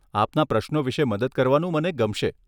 આપના પ્રશ્નો વિષે મદદ કરવાનું મને ગમશે.